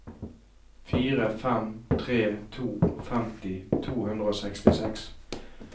fire fem tre to femti to hundre og sekstiseks